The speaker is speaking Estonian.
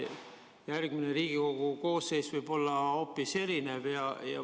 Järgmine Riigikogu koosseis võib olla hoopis erinev.